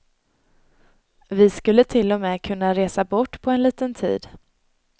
Vi skulle till och med kunna resa bort på en liten tid.